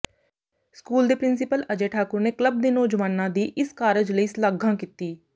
school ਦੇ principal Ajay Thakur ਨੇ club ਦੇ ਨੌਜਵਾਨਾਂ ਦੀ ਇਸ ਕਾਰਜ ਲਈ ਸਲਾਘਾਂ ਕੀਤੀ